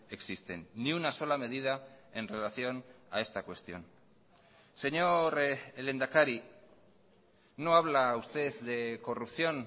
existen ni una sola medida en relación a esta cuestión señor lehendakari no habla usted de corrupción